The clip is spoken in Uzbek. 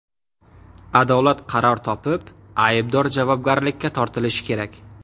Adolat qaror topib, aybdor javobgarlikka tortilishi kerak.